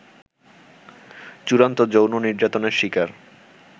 চূড়ান্ত যৌন নির্যাতনের শিকার